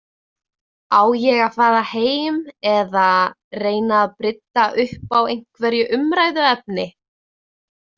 Á ég að fara heim eða reyna að brydda upp á einhverju umræðuefni?